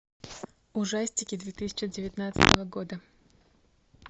ужастики две тысячи девятнадцатого года